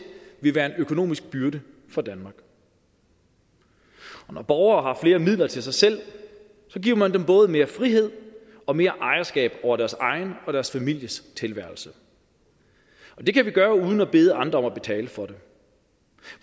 vil være en økonomisk byrde fra danmark og når borgere har flere midler til sig selv giver man dem både mere frihed og mere ejerskab over deres egen og deres families tilværelse det kan vi gøre uden at bede andre om at betale for det